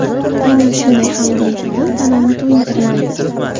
Aynan shunday xamirli taom tanani to‘yintiradi.